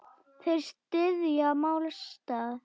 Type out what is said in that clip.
Þeir styðja málstað minn.